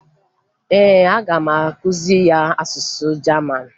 Ee, aga m akụziri ya asụsụ Jaman